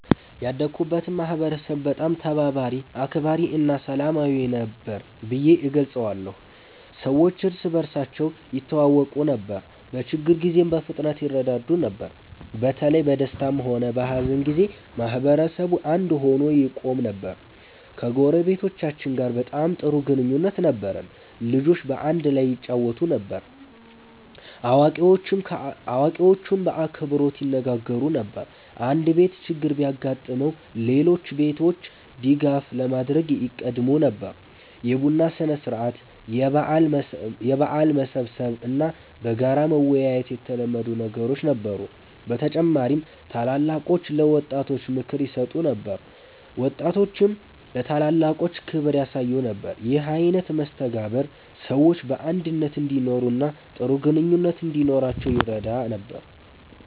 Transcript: ያደግኩበትን ማህበረሰብ በጣም ተባባሪ፣ አክባሪ እና ሰላማዊ ነበር ብዬ እገልጸዋለሁ። ሰዎች እርስ በርሳቸው ይተዋወቁ ነበር፣ በችግር ጊዜም በፍጥነት ይረዳዱ ነበር። በተለይ በደስታም ሆነ በሀዘን ጊዜ ማህበረሰቡ አንድ ሆኖ ይቆም ነበር። ከጎረቤቶቻችን ጋር በጣም ጥሩ ግንኙነት ነበረን። ልጆች በአንድ ላይ ይጫወቱ ነበር፣ አዋቂዎችም በአክብሮት ይነጋገሩ ነበር። አንድ ቤት ችግር ቢያጋጥመው ሌሎች ቤቶች ድጋፍ ለማድረግ ይቀድሙ ነበር። የቡና ሥነ-ሥርዓት፣ የበዓል መሰብሰብ እና በጋራ መወያየት የተለመዱ ነገሮች ነበሩ። በተጨማሪም ታላላቆች ለወጣቶች ምክር ይሰጡ ነበር፣ ወጣቶችም ለታላላቆች ክብር ያሳዩ ነበር። ይህ አይነት መስተጋብር ሰዎች በአንድነት እንዲኖሩ እና ጥሩ ግንኙነት እንዲኖራቸው ይረዳ ነበር።